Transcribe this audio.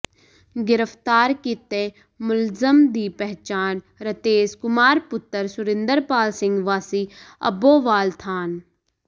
ਗਿ੍ਫ਼ਤਾਰ ਕੀਤੇ ਮੁਲਜ਼ਮ ਦੀ ਪਛਾਣ ਰਤੇਸ ਕੁਮਾਰ ਪੁੱਤਰ ਸੁਰਿੰਦਰਪਾਲ ਸਿੰਘ ਵਾਸੀ ਅੱਬੋਵਾਲ ਥਾਣ